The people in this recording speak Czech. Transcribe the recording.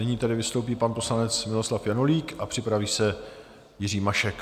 Nyní tedy vystoupí pan poslanec Miloslav Janulík a připraví se Jiří Mašek.